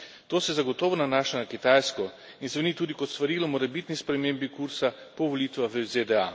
To se zagotovo nanaša na Kitajsko in zveni tudi kot svarilo morebitni spremembi kursa po volitvah v ZDA.